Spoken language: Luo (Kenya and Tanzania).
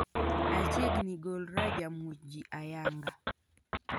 "Achiegni golra ja muoch jii ayanga"